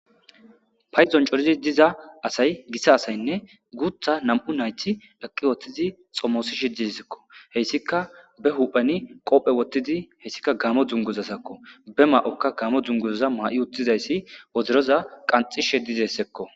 Payiddonni cooriddi diza asayi Gita asatinne guththa nam''u nayitti eqqi xommosishshe dizayissakko.hessikka bee huphphenni hoththidi hessikka Gamo duniguzazakko.be mayokka Gamo duniguzzaza mayi uttidayiss wodoroza qanxxishshe dizayissakko.